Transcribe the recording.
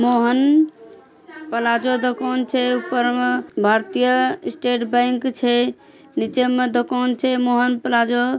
Mohan plaza दोकान छै। ऊपर मा भारतीय स्टेट बैंक छै। निचेमा दुकान छे मोहन प्लाजा ।